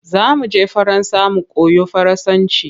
Za mu je Faransa mu koyo Faransanci.